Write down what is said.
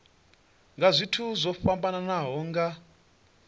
nga zwithu zwo fhambanaho nga